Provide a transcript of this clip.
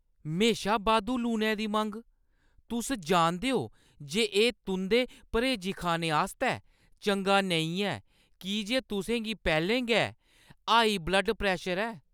म्हेशा बाद्धू लूनै दी मंग ! तुस जानदे ओ जे एह् तुंʼदे पर्‌हेजी खाने आस्तै चंगा नेईं ऐ की जे तुसें गी पैह्‌लें गै हाई ब्लड प्रैशर ऐ।